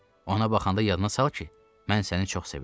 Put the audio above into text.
Ona baxanda yadına sal ki, mən səni çox sevirdim.